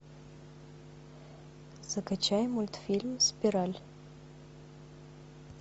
закачай мультфильм спираль